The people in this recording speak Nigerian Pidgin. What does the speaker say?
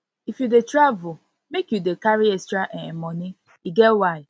if you if you dey travel make you dey carry extra um moni e get why